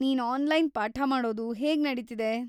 ನೀನ್ ಆನ್ಲೈನ್‌ ಪಾಠ ಮಾಡೋದು ಹೇಗ್‌ ನಡೀತಿದೆ?